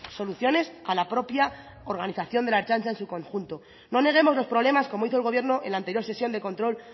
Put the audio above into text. soluciones a la propia organización de la ertzaintza en su conjunto no neguemos los problemas como hizo el gobierno en la anterior sesión de control